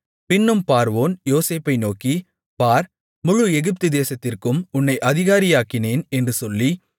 பின்னும் பார்வோன் யோசேப்பை நோக்கி பார் முழு எகிப்துதேசத்திற்கும் உன்னை அதிகாரியாக்கினேன் என்று சொல்லி